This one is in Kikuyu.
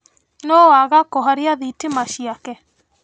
Nũu waga kũhoria thitima ciake?